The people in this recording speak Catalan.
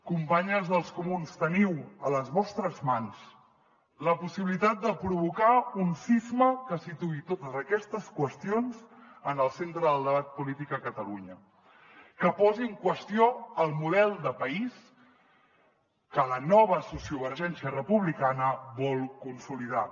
companyes dels comuns teniu a les vostres mans la possibilitat de provocar un sisme que situï totes aquestes qüestions en el centre del debat polític a catalunya que posi en qüestió el model de país que la nova sociovergència republicana vol consolidar